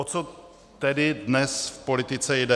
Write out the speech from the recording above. O co tedy dnes v politice jde?